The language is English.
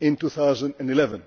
in 2011.